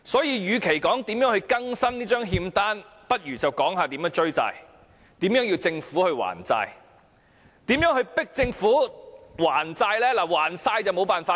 與其說如何更新這張欠單，倒不如探討如何追債，如何迫使政府還債？